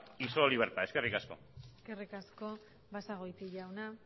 y solo libertad eskerrik asko eskerrik asko basagoiti jauna